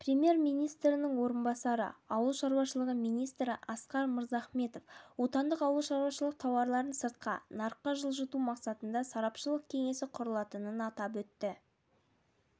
премьер-министрінің орынбасары ауыл шаруашылығы министрі асқар мырзахметов отандық ауылшаруашылық тауарларын сыртқы нарыққа жылжыту мақсатында сарапшылық кеңесі құрылатынын атап өтті